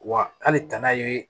Wa hali tana ye